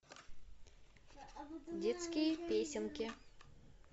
детские песенки